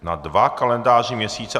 Na dva kalendářní měsíce.